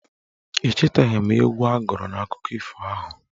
Echetaghị m egwu a gụrụ n' akụkọ ifo ahụ.